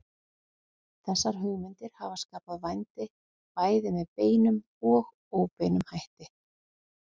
Þessar hugmyndir hafa skapað vændi bæði með beinum og óbeinum hætti.